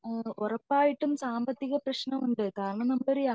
ഉറപ്പായിട്ടും സാമ്പത്തിക പ്രശ്നം ഉണ്ട് കാരണം നമ്മൾ